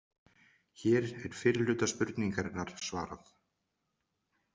Hér er fyrri hluta spurningarinnar svarað.